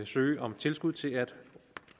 søge om tilskud til at